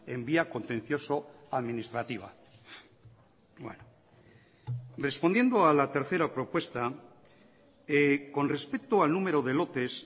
en vía contencioso administrativa respondiendo a la tercera propuesta con respecto al número de lotes